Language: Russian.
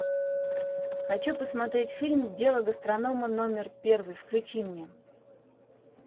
хочу посмотреть фильм дело гастронома номер первый включи мне